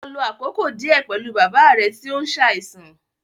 Lọ lo àkókò díẹ̀ pẹ̀lú bàbá rẹ tí ó ń ṣàìsàn